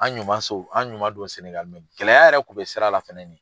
An ɲumanso, an ɲuman don Sɛnɛgali gɛlɛya yɛrɛ tun be sira la fɛnɛ ni.